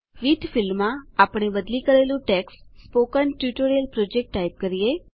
with ફિલ્ડમાં આપણે બદલી કરેલું text spoken tutorial project type કરીએ